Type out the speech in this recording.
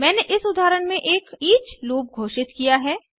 मैंने इस उदाहरण में एक ईच लूप घोषित किया है